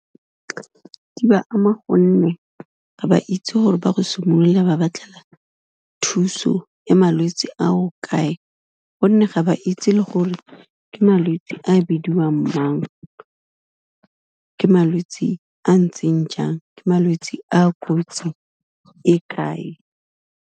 Di ba ama gonne, ga ba itse gore ba go simolola ba batlela thuso ya malwetsi ao kae, gonne ga ba itse le gore ke malwetsi a bidiwang mang, ke malwetsi a ntseng jang, ke malwetsi a kotsi e kae.